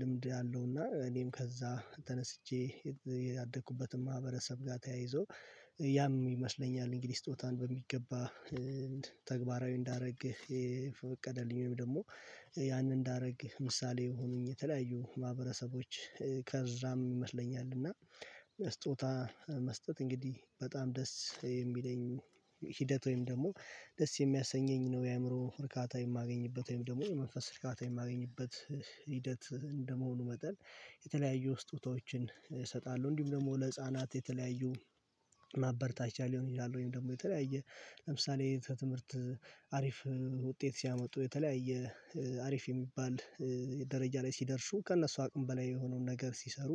ልምድ ያለው እና እኔም ከዛ ተነስቼ ያደኩበትን ማህበረሰብ ጋር ተያይዞ ያም ይመስለኛል እንግዲህ ስጦታን በሚገባ ተግባራዊ እንዳደረግህ የፈቀደልኝም ደግሞ ያንን እንዳደረግህ ምሳሌ የሆኑኝ የተለያዩ ማህበረሰቦች ከዛም ይመስለኛል እና ስጦታ መስጠት እንግዲህ በጣም ደስ የሚለኝ ሂደት ወይም ደግሞ ደስ የሚያሰኘኝ ነው የአእምሮ እርካታ የማገኝበት ወይም ደግሞ የመንፈስ ርካታ የማገኝበት ሂደት እንደመሆኑ መጠን የተለያዩ ስጦታዎችን እሰጣለሁ። እንዲሁም ደግሞ ለህፃናት የተለያዩ ማበርታቻ ሊሆን ይችላል ወይም ደግሞ የተለያየ ለምሳሌ ትምህርት አሪፍ ውጤት ሲያመጡ የተለያየ አሪፍ የሚባል ደረጃ ላይ ሲደርሱ ከእነሱ አቅም በላይ የሆነውን ነገር ሲሰሩ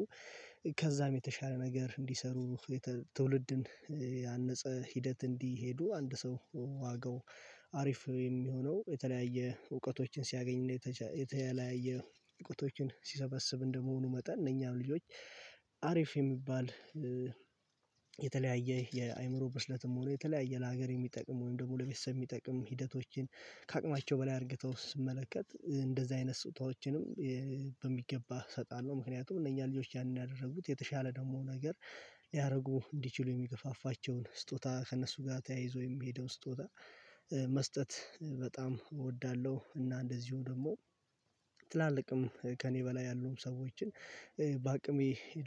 ከዛም የተሻለ ነገር እንዲሰሩ ትውልድን ያነጸ ሂደት እንዲሄዱ አንድ ሰው ዋጋው አሪፍ የሚሆነው የተለያየ እውቀቶችን ሲያገኝና የተለያየ እውቀቶችን ሲሰበስብ እንደመሆኑ መጠን እነኛ ልጆች አሪፍ የሚባል የተለያየ የአእምሮ በስለትም ሆኖ የተለያየ ለሀገር የሚጠቅመው ወይም ደግሞ ለቤተሰብ የሚጠቅም ሂደቶችን ከአቅማቸው በላይ አድርገው ስመለከት እንደዚህ አይነት ስጦታዎችንም በሚገባ እሰጣለሁ። ምክንያቱም እነኛ ልጆች ያንን ያደረጉት የተሻለ ደግሞ ነገር ሊያደርጉ እንዲችሉ የሚገፋፋቸውን ስጦታ ከእነሱ ጋር ተያይዞ የሚሄደውን ስጦታ መስጠት በጣም እወዳለሁ። እና እንደዚሁ ደግሞ ትላልቅም ከእኔ በላይ ያሉም ሰዎችን በአቅሜ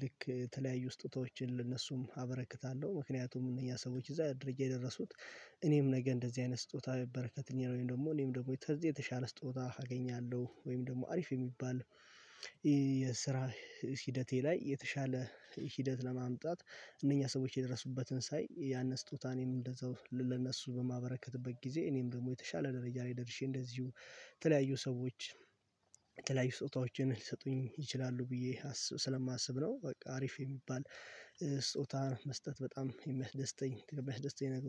ልክ ተለያዩ ስጦታዎችን ለነሱም አበረክታለሁ ምክንያቱም እነዚህ ሰዎች እዛ ደረጃ የደረሱት እኔም ነገ እንደዚህ አይነት ስጦታ በበረከትኩኝ ነው ወይም ደግሞ እኔም ደግሞ የተሻለ ስጦታ አገኛለሁ። ወይም ደግሞ አሪፍ የሚባል የስራ ሂደቴ ላይ የተሻለ ሂደት ለማምጣት እነኛ ሰዎች የደረሱበትን ሳይ ያን ስጦታን እንደዛው ለነሱ በማበረከትበት ጊዜ እኔም ደግሞ የተሻለ ደረጃ ላይ ደርሼ እንደዚሁ የተለያዩ ሰዎች የተለያዩ ስጦታዎችን ሊሰጡኝ ይችላሉ ብዬ ስለማስብ ነው። በቃ አሪፍ የሚባል ስጦታ መስጠት በጣም የሚያስደስተኝ የሚያስደስተኝ ነገሮች